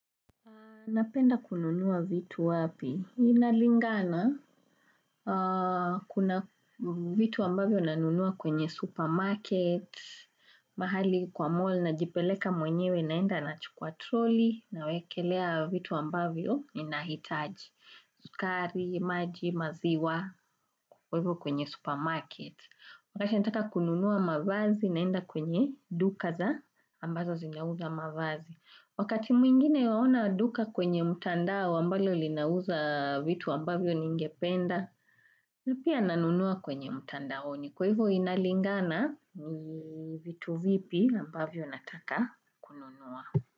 Napenda kununua vitu wapi? Ina lingana kuna vitu ambavyo nanunua kwenye supermarket, mahali kwa mall najipeleka mwenyewe naenda na chukwa troli na wekelea vitu ambavyo ninahitaji. Sukari, maji, maziwa, wapo kwenye supermarket. Wakati nataka kununua mavazi naenda kwenye duka za ambazo zinauza mavazi. Wakati mwingine waona duka kwenye mtandao ambalo linauza vitu ambavyo ningependa, na pia nanunua kwenye mtandaoni kwa hivyo inalingana vitu vipi ambavyo nataka.